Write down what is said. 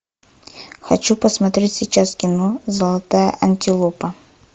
хочу посмотреть сейчас кино золотая антилопа